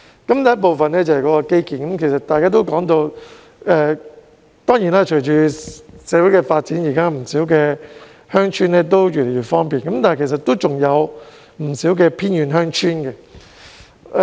第一部分是基建，大家也提到，隨着社會的發展，現在不少鄉村也越來越方便，但其實還有不少偏遠鄉村的。